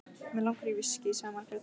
Mig langar í viskí, sagði Margrét.